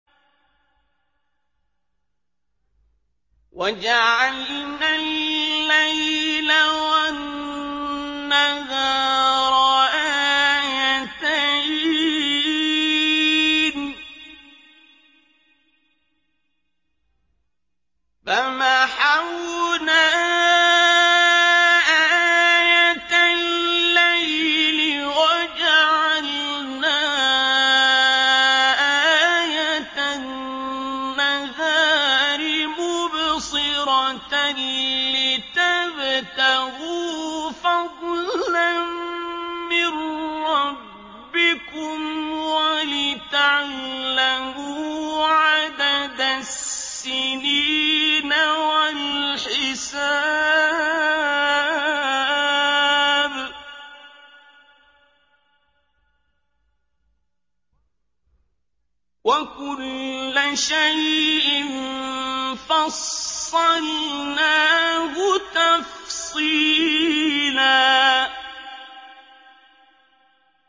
وَجَعَلْنَا اللَّيْلَ وَالنَّهَارَ آيَتَيْنِ ۖ فَمَحَوْنَا آيَةَ اللَّيْلِ وَجَعَلْنَا آيَةَ النَّهَارِ مُبْصِرَةً لِّتَبْتَغُوا فَضْلًا مِّن رَّبِّكُمْ وَلِتَعْلَمُوا عَدَدَ السِّنِينَ وَالْحِسَابَ ۚ وَكُلَّ شَيْءٍ فَصَّلْنَاهُ تَفْصِيلًا